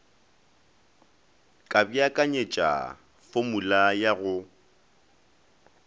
ka beakanyetša fomula ya go